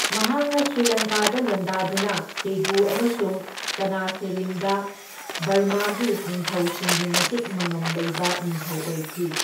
ꯃꯍꯥꯛꯅ ꯁ꯭ꯔꯤꯂꯪꯀꯥꯗ ꯂꯥꯟꯗꯥꯗꯨꯅ ꯄꯦꯒꯨ ꯑꯃꯁꯨꯡ ꯇꯥꯅꯥꯁꯦꯔꯤꯝꯗ ꯕꯔꯃꯥꯒꯤ ꯅꯤꯡꯊꯧꯁꯤꯡꯒꯤ ꯃꯇꯤꯛ ꯃꯉꯝ ꯂꯩꯕ ꯅꯤꯡꯊꯧ ꯑꯣꯏꯈꯤ꯫